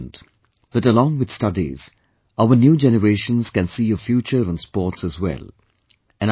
It is becoming evident that along with studies, our new generations can see a future in sports as well